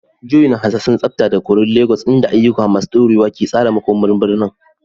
Joy na hasashen tsafta da koren Legas, inda ayyuka masu dorewa ke tsara makomar birnin.